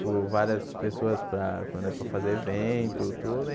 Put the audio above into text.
por várias pessoas para quando é pra fazer evento, tudo.